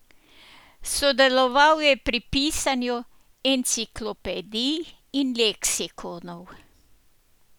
Sodeloval je pri pisanju enciklopedij in leksikonov.